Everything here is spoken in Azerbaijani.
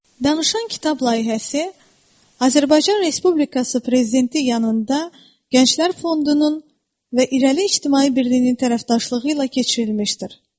Danışan kitab layihəsi Azərbaycan Respublikası prezidenti yanında Gənclər Fondunun və İrəli İctimai Birliyinin tərəfdaşlığı ilə keçirilmişdir.